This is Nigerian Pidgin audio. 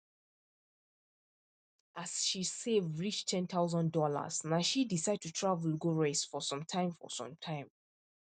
as she save reach 10000 dollars na she decide to travel go rest for some time for some time